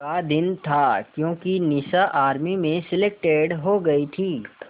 का दिन था क्योंकि निशा आर्मी में सेलेक्टेड हो गई थी